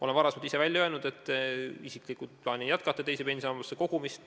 Olen varem välja öelnud, et isiklikult ma plaanin jätkata teise pensionisambasse kogumist.